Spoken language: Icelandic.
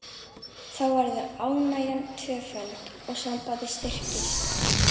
Þá verður ánægjan tvöföld og sambandið styrkist.